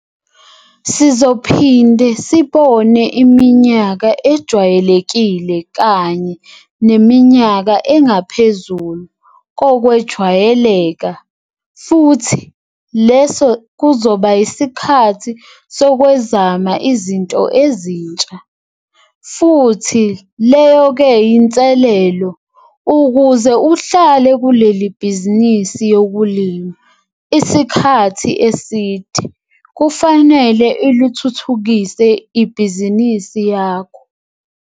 Sizophinde sibone iminyaka ejwayelekile kanye neminyaka engaphezulu kokwejwayeleka futhi leso kuzoba yisikhathi sokwezama izinto ezintsha. Futhi leyo ke yinselelo - Ukuze uhlale kuleli bhizinisi yokulima isikhathi eside, kufanele ilithuthukise ibhizinisi lakho.